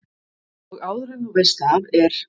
Og áður en þú veist af er